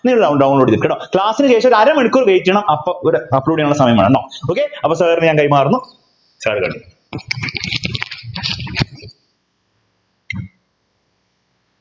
download ചെയ്തെടുക്ക കേട്ടോ class നു ശേഷം ഒരു അരമണിക്കൂർ wait ചെയ്യണം അപ്പൊ ഒരു upload ചെയ്യാനുള്ള സമയം വേണം ട്ടോ okay അപ്പൊ sir നു ഞാൻ കൈമാറുന്നു